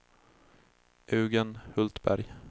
Eugen Hultberg